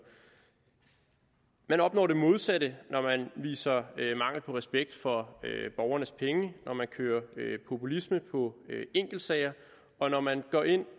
man opnår det modsatte når man udviser mangel på respekt for borgernes penge når man kører populisme på enkeltsager og når man går ind